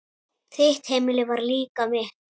Þitt heimili var líka mitt.